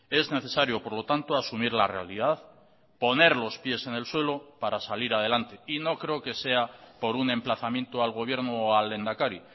es necesario por lo tanto asumir la realidad poner los pies en el suelo para salir adelante y no creo que sea por un emplazamiento al gobierno o al lehendakari